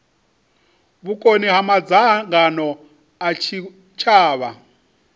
vhukoni ha madzangano a tshitshavha